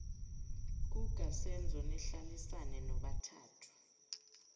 kukasenzo nihlalisane nobathathu